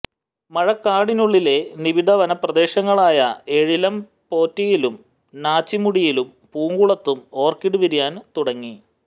മഴക്കാടിനുള്ളിലെ നിബിഡവന പ്രദേശങ്ങളായ ഏഴിലംപൊറ്റയിലും നാച്ചിമുടിയിലും പൂങ്കുളത്തും ഓര്ക്കിഡ് വിരിയാന് തുടങ്ങി